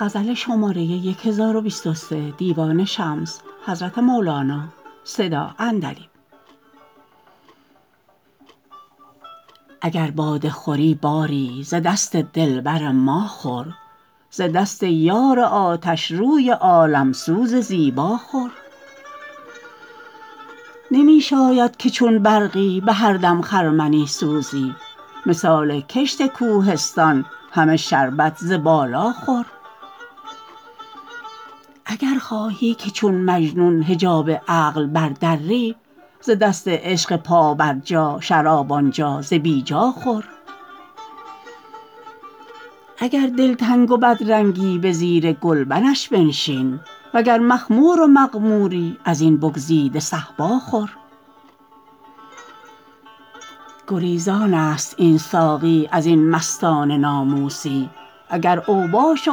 اگر باده خوری باری ز دست دلبر ما خور ز دست یار آتشروی عالم سوز زیبا خور نمی شاید که چون برقی به هر دم خرمنی سوزی مثال کشت کوهستان همه شربت ز بالا خور اگر خواهی که چون مجنون حجاب عقل بردری ز دست عشق پابرجا شراب آن جا ز بی جا خور اگر دلتنگ و بدرنگی به زیر گلبنش بنشین وگر مخمور و مغموری از این بگزیده صهبا خور گریزانست این ساقی از این مستان ناموسی اگر اوباش و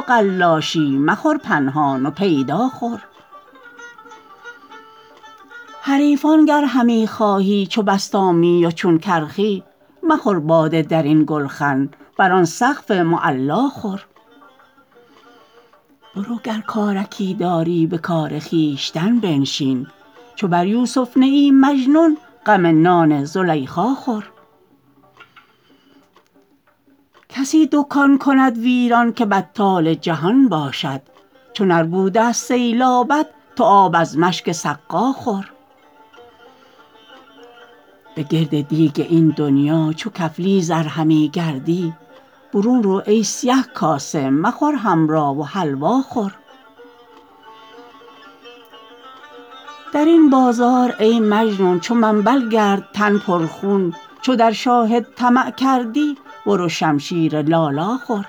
قلاشی مخور پنهان و پیدا خور حریفان گر همی خواهی چو بسطامی و چون کرخی مخور باده در این گلخن بر آن سقف معلا خور برو گر کارکی داری به کار خویشتن بنشین چو بر یوسف نه ای مجنون غم نان زلیخا خور کسی دکان کند ویران که بطال جهان باشد چو نربود ه است سیلابت تو آب از مشک سقا خور بگرد دیگ این دنیا چو کفلیز ار همی گردی برون رو ای سیه کاسه مخور حمرا و حلوا خور در این بازار ای مجنون چو منبل گرد تن پرخون چو در شاهد طمع کردی برو شمشیر لالا خور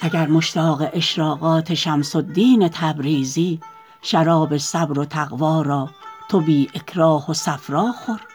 اگر مشتاق اشراقات شمس الدین تبریزی شراب صبر و تقوا را تو بی اکراه و صفرا خور